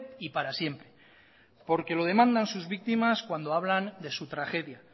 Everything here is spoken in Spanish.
y para siempre porque lo demandan sus víctimas cuando hablan de su tragedia